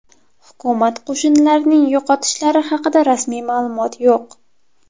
Hukumat qo‘shinlarining yo‘qotishlari haqida rasmiy ma’lumot yo‘q.